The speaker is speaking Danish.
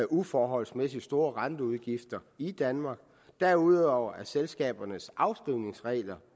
uforholdsmæssigt store renteudgifter i danmark derudover er selskabernes afskrivningsregler